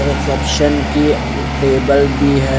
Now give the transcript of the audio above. Reception की table भी है।